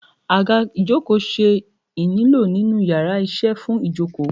aga ìjokò se ínílo ninu íyarà iṣẹ fún jíjòkó